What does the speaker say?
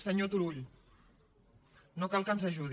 senyor turull no cal que ens ajudi